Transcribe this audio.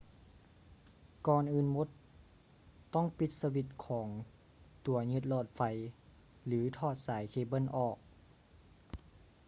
ກ່ອນອື່ນໝົດ ຕ້ອງປີດສະວິດຂອງຕົວຍຶດຫຼອດໄຟ ຫຼື ຖອດສາຍເຄເບິ້ນອອກ